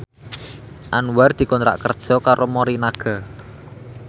Anwar dikontrak kerja karo Morinaga